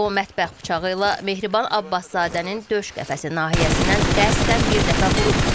O mətbəx bıçağı ilə Mehriban Abbaszadənin döş qəfəsi nahiyəsindən qəsdən bir dəfə vurub.